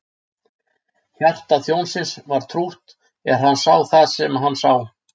Hjarta þjónsins var trútt er hann sá það sem hann sá.